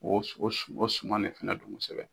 o su o su o suman de fana kosɛbɛ.